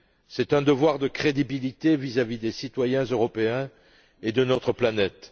C'est un devoir de crédibilité vis à vis des citoyens européens et de notre planète.